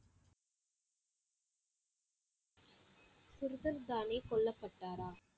குர்தன் தாலே கொல்லப்பட்டாரா?